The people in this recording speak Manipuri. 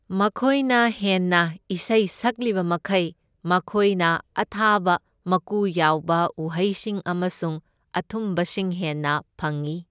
ꯃꯈꯣꯏꯅ ꯍꯦꯟꯅ ꯏꯁꯩ ꯁꯛꯂꯤꯕꯃꯈꯩ, ꯃꯈꯣꯏꯅ ꯑꯊꯥꯕ ꯃꯀꯨ ꯌꯥꯎꯕ ꯎꯍꯩꯁꯤꯡ ꯑꯃꯁꯨꯡ ꯑꯊꯨꯝꯕꯁꯤꯡ ꯍꯦꯟꯅ ꯐꯪꯏ꯫